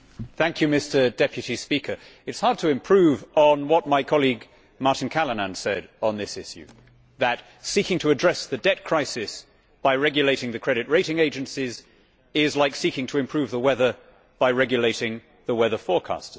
Mr President, it is hard to improve on what my colleague Martin Callanan said on this issue, that seeking to address the debt crisis by regulating the credit rating agencies is like seeking to improve the weather by regulating the weather forecasters.